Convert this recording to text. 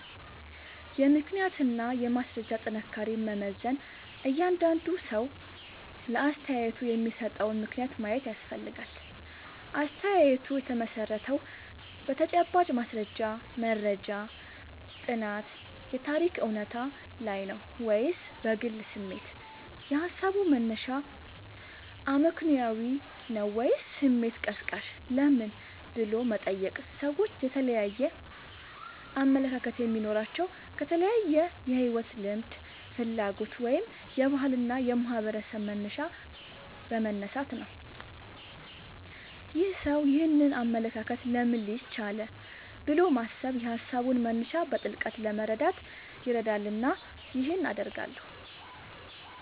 የምክንያትና የማስረጃ ጥንካሬን መመዘን እያንዳንዱ ሰው ለአስተያየቱ የሚሰጠውን ምክንያት ማየት ያስፈልጋል። አስተያየቱ የተመሠረተው በተጨባጭ ማስረጃ (መረጃ፣ ጥናት፣ የታሪክ እውነታ) ላይ ነው ወይስ በግል ስሜት? የሃሳቡ መነሻ አመክንዮአዊ ነው ወይስ ስሜት ቀስቃሽ? ለምን" ብሎ መጠየቅ ሰዎች የተለያየ አመለካከት የሚኖራቸው ከተለያየ የሕይወት ልምድ፣ ፍላጎት ወይም የባህልና የማኅበረሰብ መነሻ በመነሳት ነው። "ይህ ሰው ይህንን አመለካከት ለምን ሊይዝ ቻለ?" ብሎ ማሰብ የሃሳቡን መነሻ በጥልቀት ለመረዳት ይረዳልና ይህን አደርጋለሁ